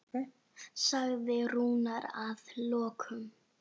sagði Rúnar að lokum.